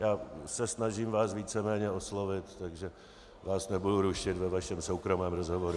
Já se snažím vás víceméně oslovit, takže vás nebudu rušit ve vašem soukromém rozhovoru.